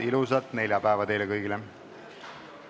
Ilusat neljapäeva teile kõigile!